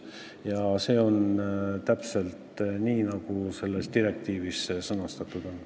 Ja see on täpselt nii, nagu selles direktiivis see sõnastatud on.